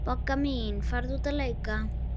Bogga mín, farðu út að leika.